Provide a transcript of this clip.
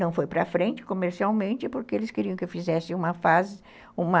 Não foi para frente comercialmente, porque eles queriam que eu fizesse uma fase, uma...